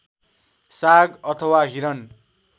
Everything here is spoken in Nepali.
साग अथवा हिरण